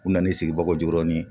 U nana ni sigibagaw joɔrɔ ni